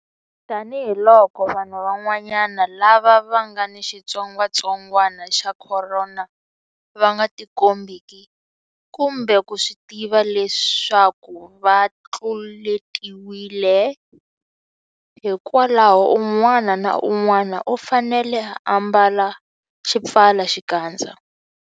Tanihiloko vanhu van'wana lava nga ni xitsongwantsongwana xa Khorona va nga tikombeki kumbe ku swi tiva leswaku va tluletiwile, hikwalaho un'wana na un'wana u fanele ku ambala xipfalaxikandza.